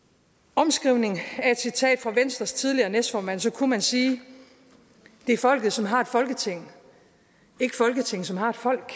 omskrivning af et citat fra venstres tidligere næstformand kunne man sige det er folket som har et folketinget som har et folk